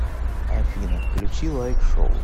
афина включи лайк шоу